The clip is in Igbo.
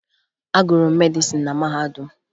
Agụrụ m medịsịn na mahadum